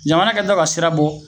Jamana kɛ tɔ ka sira bɔ